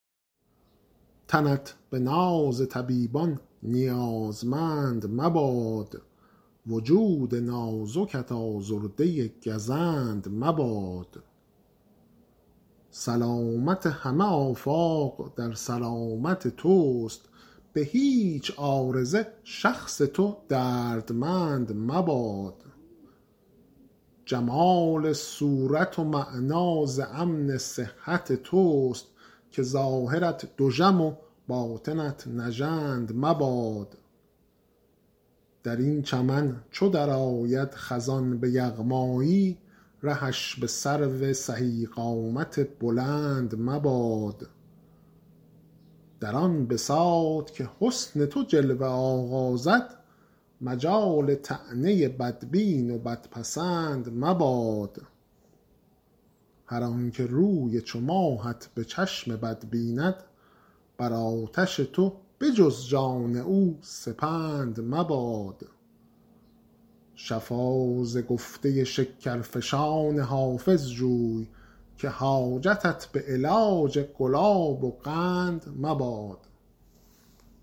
تنت به ناز طبیبان نیازمند مباد وجود نازکت آزرده گزند مباد سلامت همه آفاق در سلامت توست به هیچ عارضه شخص تو دردمند مباد جمال صورت و معنی ز امن صحت توست که ظاهرت دژم و باطنت نژند مباد در این چمن چو درآید خزان به یغمایی رهش به سرو سهی قامت بلند مباد در آن بساط که حسن تو جلوه آغازد مجال طعنه بدبین و بدپسند مباد هر آن که روی چو ماهت به چشم بد بیند بر آتش تو به جز جان او سپند مباد شفا ز گفته شکرفشان حافظ جوی که حاجتت به علاج گلاب و قند مباد